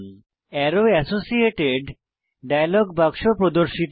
আরো associated dialog বাক্স প্রর্দশিত হয়